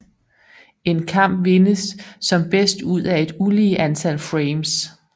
En kamp vindes som bedst ud af et ulige antal frames